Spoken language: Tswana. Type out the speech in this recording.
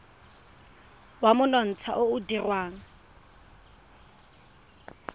wa monontsha o o dirwang